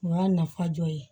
O y'a nafa dɔ ye